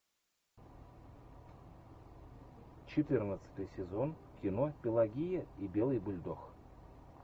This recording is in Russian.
четырнадцатый сезон кино пелагея и белый бульдог